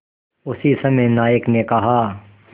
उसी समय नायक ने कहा